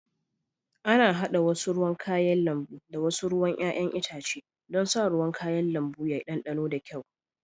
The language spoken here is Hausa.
Ana hada wasu ruwan kayan lambu da wasu ruwan 'ya'yan itace don sa ruwan kayan lambu ya ɗanɗana da kyau